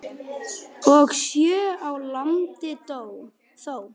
og sjö á landi þó.